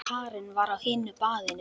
Karen var á hinu baðinu.